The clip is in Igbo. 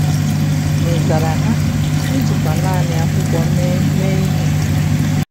Ma ị zara ha, i jikwa naanị akwụkwọ mee mee ihe!